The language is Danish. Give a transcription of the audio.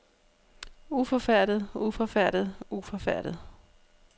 uforfærdet uforfærdet uforfærdet